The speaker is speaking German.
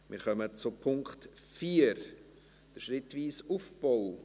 Wir kommen zum Punkt 4, dem schrittweisen Aufbau.